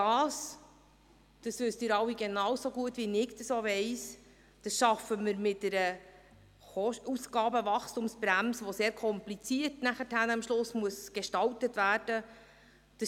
Dies – und dies wissen Sie alle genauso gut wie ich – schaffen wir mit einer Ausgabenwachstumsbremse, welche sehr kompliziert gestaltet werden muss.